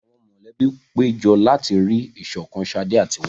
Àwọn mọ̀lẹ́bí péjọ láti rí ìṣọ̀kan Sade àti Wale.